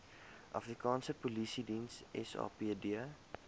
afrikaanse polisiediens sapd